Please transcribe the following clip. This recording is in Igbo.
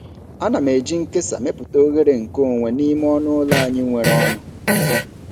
Ana m eji nkesa mepụta oghere nkeonwe n'ime ọnụ ụlọ anyị nwere ọnụ.